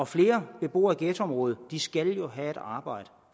flere beboere i ghettoområdet skal jo have et arbejde